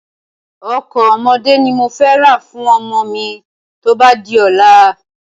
Ọkọ̀ ọmọdé ni mofẹ ra fún ọmọ mi tóba di ọ̀la.